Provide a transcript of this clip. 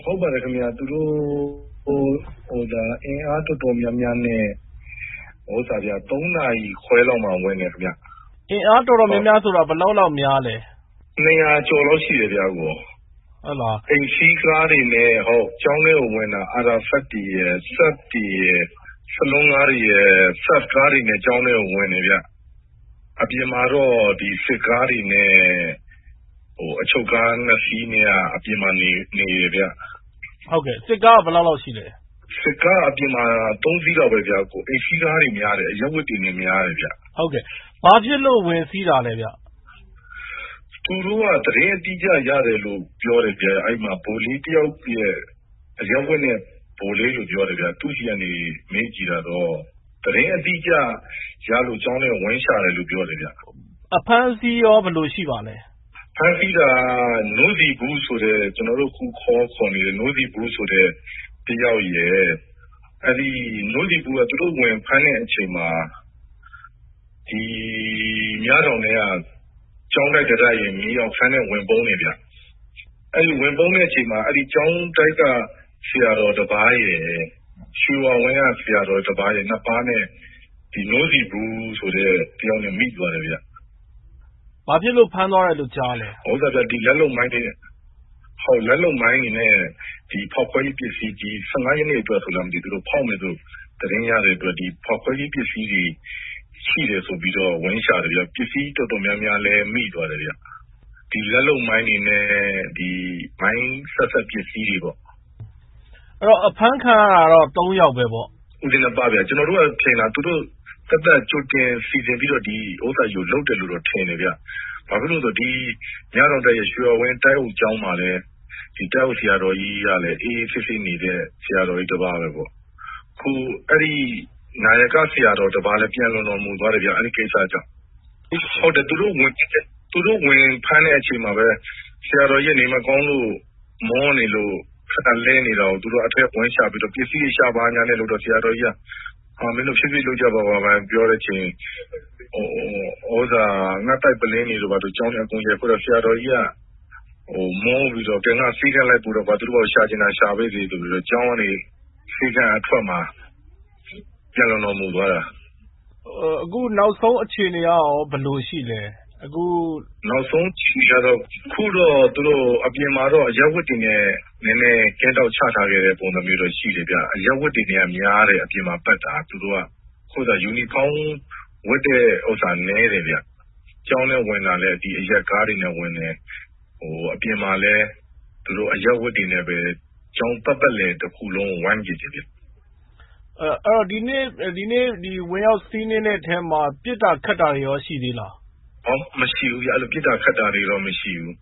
ဟုတ်ပါတယ်ခင်ဗျာ။ သူတို့အင်အားတော်တော်များများနဲ့ သုံးနာရီလောက်မှာဝင်တယ် ခင်ဗျာ။ အင်အားတော်တော်များများဆိုတာ ဘယ်လောက်လောက်များလဲ။ နှစ်ရာကျော်လောက်ရှိတယ်ဗျ။ အိမ်စီးကားတွေနဲ့ကျောင်းထဲကိုဝင်တာ။ ဆလွန်းကားတွေရယ်၊ Saab တွေနဲ့ကျောင်းထဲကို ဝင်တယ်ဗျ။ အပြင်မှာတော့ စစ်ကားတွေနဲ့အချုပ်ကားနှစ်စီးက အပြင်မှာနေနေတယ်။ စစ်ကားက ဘယ်လောက်လောက်ရှိလဲ။ စစ်ကားက အပြင်မှာ သုံးစီးလောက်ပဲ။ အိမ်စီးကားတွေနဲ့များတယ်။ အရပ်ဝတ်တွေနဲ့များတယ်ခင်ဗျ။ ဘာဖြစ်လို့ဝင်စီးတာလည်းဗျ။ သူတို့က သတင်းအတိအကျရတယ်လို့ပြောတယ်ဗျ။ အဲဒီမှာ အရပ်ဝတ်နဲ့ဗိုလ်လေးတယောက်ဆီက ပြောတယ်ခင်ဗျ။ သတင်းအတိအကျရလို့ကျောင်းထဲကို ဝင်ရှာတယ်ပြောတယ်ခင်ဗျ။ အဖမ်းအဆီးရော ဘယ်လိုရှိပါလဲ။ ဖမ်းဆီးတာက နို့ဆီဗူးလို့ကျနော်တို့ခေါ်ခေါ်နေတဲ့ တယောက်ရယ်၊ နို့ဆီဗူးက သူတို့ဖမ်းတဲ့အချိန်မှာ မြတောင်ထဲက ကျောင်းတိုက်တတိုက်ရဲ့ မြေအောက်ခန်းထဲ ဝင်ပုန်းတယ်ဗျ။ အဲဒီဝင်ပုန်းတဲ့အချိန်မှာ ကျောင်းတိုက်တိုက်က ဆရာတော်တပါးရယ်၊ ရွှေဝါဝင်းက ဆရာတော်တပါးရယ်၊ သူတို့နှစ်ပါးနဲ့ နို့ဆီဗူးဆိုတဲ့ တယောက်နဲ့မိသွားတယ်ခင်ဗျ။ ဘာဖြစ်လို့ဖမ်းသွးာတယ်လို့ကြားလဲ။ လက်လုပ်မိုင်းတွေနဲ့၊ ဖောက်ခွဲရေးပစ္စည်းတွေကို ဒီ ၁၅ ရက်နေ့အတွက် သူတို့ဖောက်မယ်လို့သတင်းရတဲ့အတွက် ဒီဖောက်ခွဲရေးပစ္စည်းတွေရှိတယ်ဆိုပြီးတော့ သူတို့ဝင်ရှာတယ်ခင်ဗျ။ ပစ္စည်းတော်တော်များများလည်း မိသွားတယ်ခင်ဗျ။ လက်လုပ်မိုင်းတွေနဲ့ဒီမိုင်းဆက်စပ်ပစ္စည်းတွေပေါ့။ အဲဒီတော့ အဖမ်းခံရတာတော့ ဒီသုံးယောက်ပဲပေါ့။ ဦးဇင်းနှစ်ပါးဗျ။ ကျနော်တို့ကတော့ သူတို့သက်သက်ကြိုတင်စီစဉ်ပြီးတော့ လုပ်တယ်လို့ထင်တယ်ဗျ။ ဘာဖြစ်လို့လည်းဆိုတော့ ဒီမြတောင်တိုက်ရဲ့ ရွှေဝါဝင်း တိုက်အုပ်ကျောင်းမှာလည်း တိုက်အုပ်ဆရာတော်ကြီးက အေးအေးဆေးဆေးနေတဲ့ ဆရာတော်ကြီးတပါးပဲပေါ့။ အခု နာယက ဆရာတော်တပါးလည်း ပျံလွန်တော်မူသွားတယ်ဗျ။ အဲဒီကိစ္စကြောင့်။ သူတို့ဝင်ဖမ်းတဲ့အချိန်မှာပဲ ဆရာတော်ကြီးက နေမကောင်းလို့၊ မောနေလို့လဲနေတာကို သူတို့က အထဲ ပစ္စည်းဝင်ရှာဖို့လုပ်ကြတော့ ဆရာတော်ကြီးက မင်းတို့ဖြည်းဖြည်းလုပ်ကြပါလို့ပြောတဲ့အချိန် ငှတ်သိုက်ပုလင်းတွေ ဘာတေ ကျောင်းထဲ အကုန်ရိုက်ခွဲတော့ ဆရာတော်ကြီးဟာ မောပြီးတော့၊ ကဲ ငါ့ကိုဆေးခန်းလိုက်ပို့တော့၊ သူတို့ရှာချင်တာ ရှာပေ့စေဆိုပြီး ဆေးခန်းအထွက်မှာ ပျံလွန်တော်မူသွားတာ။ အခုနောက်ဆုံးအခြေအနေကရော ဘယ်လိုရှိလဲ။ အခုနောက်ဆုံးအခြေအရတော့ သူတို့အပြင်မှာတော့ အရပ်ဝတ်တွေနဲ့နည်းနည်းကင်းထောက်ချခဲ့တဲ့ ပုံစံတော့ရှိတယ်ခင်ဗျ။ အရပ်ဝတ်တွေနဲ့က များတယ် အပြင်မှာပတ်တာက။ ယူနီဖောင်းဝတ်တဲ့ ဥစ္စာနည်းတယ်ဗျ။ ကျောင်းထဲဝင်တာလည်း အရပ်ကားတွေနဲ့ဝင်တယ်။ အပြင်မှာလည်း အရပ်ဝတ်တွေနဲ့ပဲ သူတို့ ကျောင်းပတ်ပတ်လည်တခုလုံးကို ဝိုင်းတယ်ခင်ဗျ။ ဒီကနေ့ဝင်ရောက်စီးနင်းတဲ့အထဲမှာ ပစ်တာခတ်တာတွေရော ရှိသေးလားဗျ။ မရှိဘူးဗျ။ အဲလို ပစ်တာခတ်တာတွေတော့ မရှိဘူး